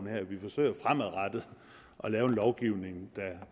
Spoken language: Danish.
her vi forsøger at lave en lovgivning